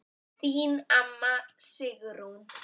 Þín amma, Sigrún.